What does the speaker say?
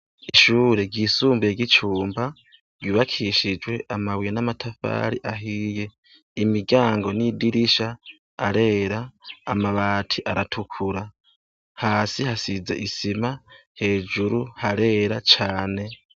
Ishure ryisumbuye ryicumba ryubakishijwe amabuye namatafari ahiye imiryango nidirisha arera amabati aratukura hasi hasize isima hejuru harera cane